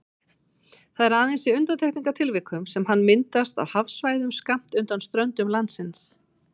Það er aðeins í undantekningartilvikum sem hann myndast á hafsvæðum skammt undan ströndum landsins.